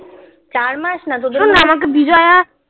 চার মাস না